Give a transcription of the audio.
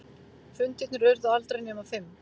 Fundirnir urðu aldrei nema fimm.